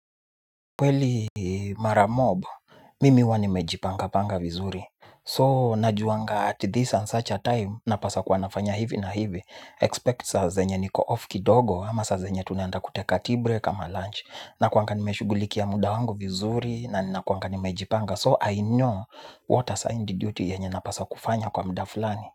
Kweli mara mob, mimi huwa nimejipanga panga vizuri. So najuanga at this and such a time, napaswa kuwa nafanya hivi na hivi. Expect saa zenye niko off kidogo ama saa zenye tunaenda kutek a tea-break ama lunch. Na kuanga nimeshugulikia muda wangu vizuri na ninakuanga nimejipanga. So I know what assigned duty yenye napaswa kufanya kwa muda fulani.